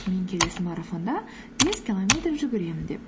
мен келесі марафонда бес километр жүгіремін деп